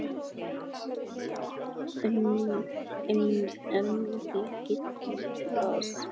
Almennt gildir að